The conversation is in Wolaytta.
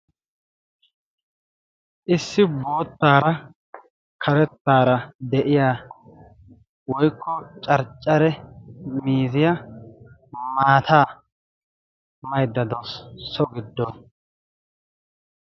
Issi boottaara karettaara de'iya woikko carccare miizziya maata maydda dosso giddo